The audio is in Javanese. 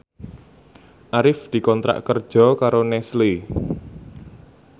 Arif dikontrak kerja karo Nestle